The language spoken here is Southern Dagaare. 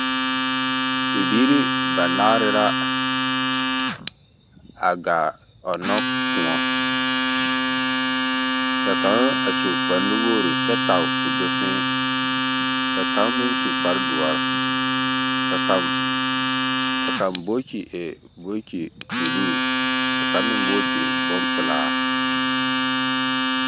Bibiiri banaare ra a gaa ɔnnɔ kõɔ. Ka kaŋ a su kpare nuwogiri kyɛ tage ka o do fẽẽ ka kaŋ meŋsu kpare doɔre ka kaŋ bokyi e.. bokyi buluu, ka kaŋ meŋ bokyi e bompelaa.